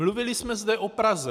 Mluvili jsme zde o Praze.